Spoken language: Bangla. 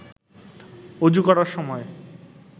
অযু করার সময়